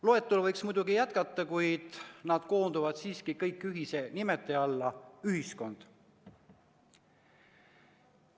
Loetelu võiks muidugi jätkata, kuid kõik need näited koonduvad ühise nimetaja alla – ühiskond.